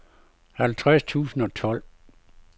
halvtreds tusind og tolv